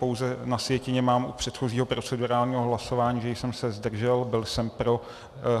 Pouze na sjetině mám u předchozího procedurálního hlasování, že jsem se zdržel, byl jsem pro.